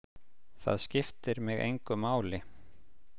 Það skiptir mig engu máli.